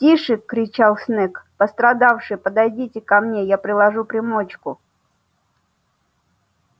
тише кричал снегг пострадавшие подойдите ко мне я приложу примочку